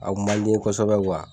A kun man di n ye kosɛbɛ